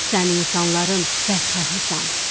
Sən insanların bədxahısan.